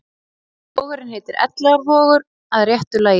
Vogurinn heitir Elliðaárvogur að réttu lagi.